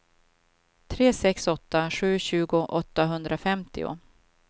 tre sex åtta sju tjugo åttahundrafemtio